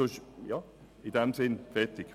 In diesem Sinne: fertig!